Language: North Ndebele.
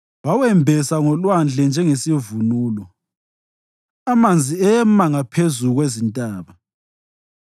Wawembesa ngolwandle njengesivunulo; amanzi ema ngaphezu kwezintaba.